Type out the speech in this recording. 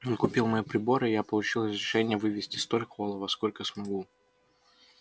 он купил мои приборы и я получил разрешение вывезти столько олова сколько смогу